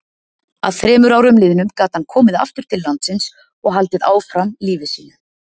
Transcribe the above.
Að þremur árum liðnum gat hann komið aftur til landsins og haldið áfram lífi sínu.